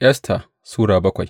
Esta Sura bakwai